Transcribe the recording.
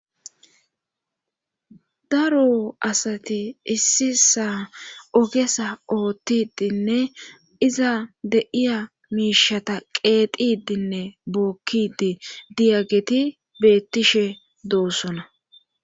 daro asati issisa ogesa oothtidinne iza de7iya miishata qeexidinne bookkidi diyageti beettishe doossona